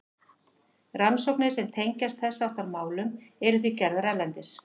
rannsóknir sem tengjast þess háttar málum eru því gerðar erlendis